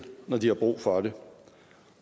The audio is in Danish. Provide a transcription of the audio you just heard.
når de har brug for det